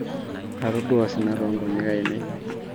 atodua osina toongonyek ainei